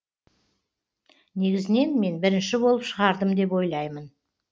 негізінен мен бірінші болып шығардым деп ойлаймын